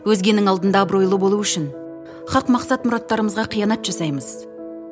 өзгенің алдында абыройлы болу үшін хақ мақсат мұраттарымызға қиянат жасаймыз